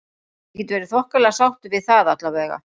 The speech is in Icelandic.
Ég get verið þokkalega sáttur við það allavega.